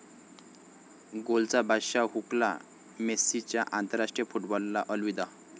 गोलचा बादशाह 'हुकला', मेस्सीचा आंतराष्ट्रीय फुटबॉलला अलविदा